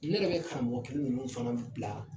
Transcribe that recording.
Ne yɛrɛ bɛ karamɔgɔ kelen ninnu fana bila